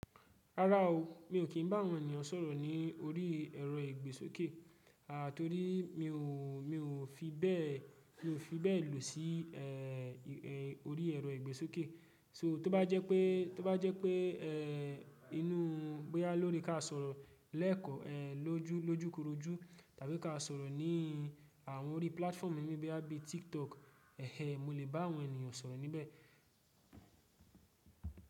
Rárá o, mi ò kí n bá àwọn ènìyàn sọ̀rọ̀ ní orí ẹ̀rọ ìgbésókè, à, torí mi o, mi o mi ò fi bẹ́ẹ̀ lò sí orí ẹ̀rọ ìgbésókè. So tó bá jẹ́ pé inú, bóyá lórí ka sọ̀rọ̀ lẹ́ẹ̀kan lójúkorojú tàbí ka sọ̀rọ̀ ní àwọn orí platform mi bóyá bí i TikTok, eh eh mo lè bá àwọn ènìyàn sọ̀rọ̀ níbẹ̀.